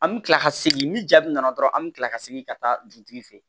An mi kila ka segin ni jaabi nana dɔrɔn an bi kila ka segin ka taa dugutigi fɛ yen